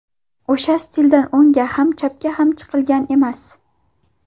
O‘sha stildan o‘ngga ham chapga ham chiqilgan emas.